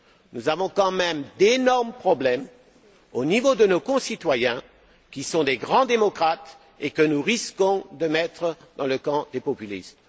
Nous rencontrons d'énormes problèmes au niveau de nos concitoyens qui sont de grands démocrates et que nous risquons de mettre dans le camp des populistes.